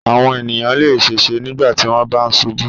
Àwọn ènìyàn le ṣèṣe nígbà tí wọ́n bá ṣubú.